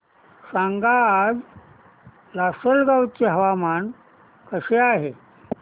सांगा आज लासलगाव चे हवामान कसे आहे